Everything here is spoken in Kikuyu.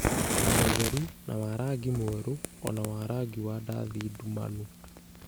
na mũtheru, na wa rangi mwerũ, o na wa rangi wa ndathi ndumanu,